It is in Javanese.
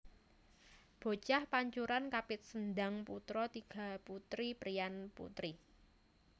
Bocah pancuran kapit sendhang putra tiga putri priya putri